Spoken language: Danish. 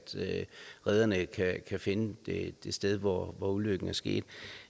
redderne ikke kan finde det sted hvor ulykken er sket